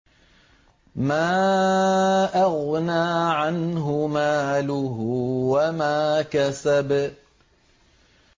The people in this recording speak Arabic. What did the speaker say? مَا أَغْنَىٰ عَنْهُ مَالُهُ وَمَا كَسَبَ